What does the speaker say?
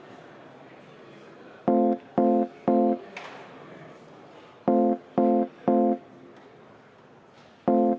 Palun võtta seisukoht ja hääletada!